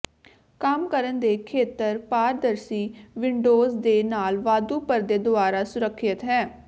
ਕੰਮ ਕਰਨ ਦੇ ਖੇਤਰ ਪਾਰਦਰਸ਼ੀ ਵਿੰਡੋਜ਼ ਦੇ ਨਾਲ ਵਾਧੂ ਪਰਦੇ ਦੁਆਰਾ ਸੁਰੱਖਿਅਤ ਹੈ